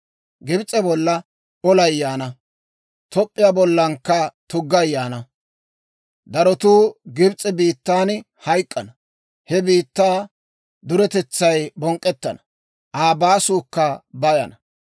Gibs'e bolla olay yaana; Toop'p'iyaa bollankka tuggay yaana. Darotuu Gibs'e biittan hayk'k'ana; he biittaa duretetsay bonk'k'ettana; Aa baasuukka bayana.